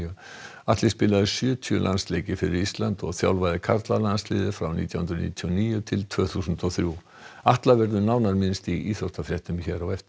Atli spilaði sjötíu landsleiki fyrir Ísland og þjálfaði karlalandsliðið frá nítján hundruð níutíu og níu til tvö þúsund og þrjú Atla verður nánar minnst í íþróttafréttum hér á eftir